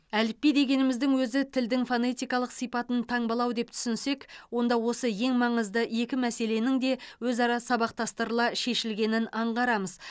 әліпби дегеніміздің өзі тілдің фонетикалық сипатын таңбалау деп түсінсек онда осы ең маңызды екі мәселенің де өзара сабақтастырыла шешілгенін аңғарамыз